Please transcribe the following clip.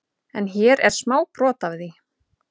En hér er smá brot af því.